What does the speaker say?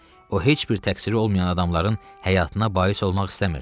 O heç bir təqsiri olmayan adamların həyatına bais olmaq istəmirdi.